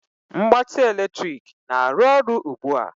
Mgbatị eletrik na-arụ ọrụ ugbu a?